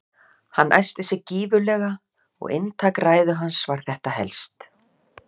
Hann æsti sig gífurlega og inntak ræðu hans var þetta helst